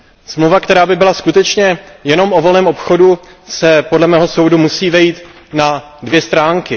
Smlouva, která by byla skutečně jenom o volném obchodu se, podle mého soudu, musí vejít na dvě stránky.